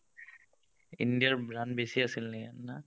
ইণ্ডিয়াৰ run বেছি আছিল নেকি